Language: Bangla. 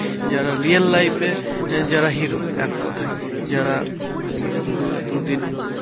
যারা real life এ যারা hero এককথায়। যারা উম দু~ দুদিন